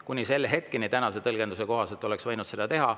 Kuni selle hetkeni oleks tänase tõlgenduse kohaselt võinud seda teha.